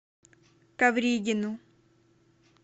ковригину